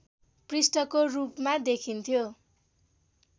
पृष्ठको रूपमा देखिन्थ्यो